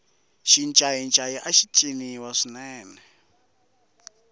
xincayincayi axi ciniwa swinene